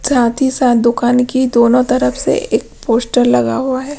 साथ ही साथ दुकान की दोनों तरफ से एक पोस्टर लगा हुआ है।